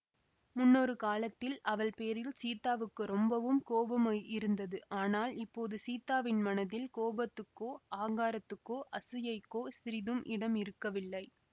முன்னொரு காலத்தில் அவள்பேரில் சீதாவுக்கு ரொம்பவும் கோபம் இருந்தது ஆனால் இப்போது சீதாவின் மனதில் கோபத்துக்கோ ஆங்காரத்துக்கோ அசூயைக்கோ சிறிதும் இடம் இருக்கவில்லை